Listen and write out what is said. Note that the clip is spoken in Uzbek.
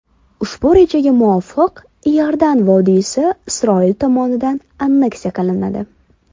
Ushbu rejaga muvqofiq Iordan vodiysi Isroil tomonidan anneksiya qilinadi.